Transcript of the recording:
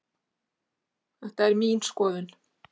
Þetta er mín skoðun